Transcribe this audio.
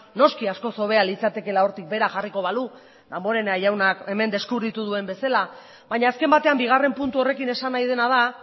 noski askoz hobea litzatekeela hortik behera jarriko balu damborenea jaunak hemen deskubritu duen bezala baina azken batean bigarren puntu horrekin esan nahi dena da